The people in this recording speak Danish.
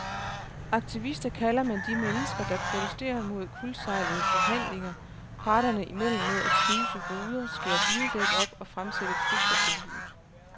Aktivister kalder man de mennesker, der protesterer mod kuldsejlede forhandlinger parterne imellem med at knuse ruder, skære bildæk op og fremsætte trusler på livet.